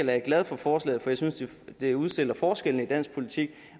jeg glad for forslaget for jeg synes at det udstiller forskellene i dansk politik